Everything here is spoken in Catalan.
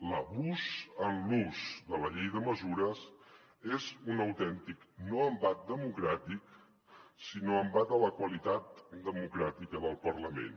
l’abús en l’ús de la llei de mesures és un autèntic no embat democràtic sinó embat de la qualitat democràtica del parlament